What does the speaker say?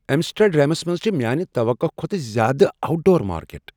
ایمسٹرڈیمس منٛز چھ میانہ توقع کھوتہٕ زیادٕ آوٹ ڈور مارکیٹ۔